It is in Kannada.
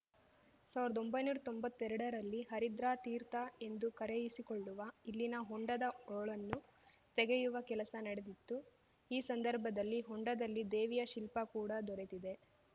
ಸಾವ್ರ್ದೊಂಬೈನೂರಾ ತೊಂಬತ್ತೆರಡರಲ್ಲಿ ಹರಿದ್ರಾತೀರ್ಥ ಎಂದು ಕರೆಯಿಸಿಕೊಳ್ಳುವ ಇಲ್ಲಿನ ಹೊಂಡದ ಹೋಳನ್ನು ತೆಗೆಯುವ ಕೆಲಸ ನಡೆದಿತ್ತು ಈ ಸಂದರ್ಭದಲ್ಲಿ ಹೊಂಡದಲ್ಲಿ ದೇವಿಯ ಶಿಲ್ಪ ಕೂಡ ದೊರೆತಿದೆ